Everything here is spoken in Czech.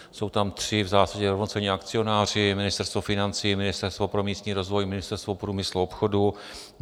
Jsou tam tři v zásadě rovnocenní akcionáři - Ministerstvo financí, Ministerstvo pro místní rozvoj, Ministerstvo průmyslu a obchodu.